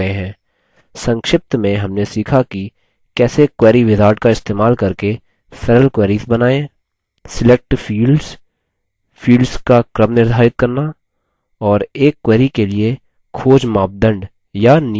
संक्षिप्त में हमने सीखा की कैसे: query wizard का इस्तेमाल करके सरल queries बनाएँ select fields fields का क्रम निर्धारित करना और एक query के लिए खोज मापदंड या नियम प्रदान करना